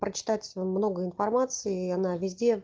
прочитать вам много информации и она везде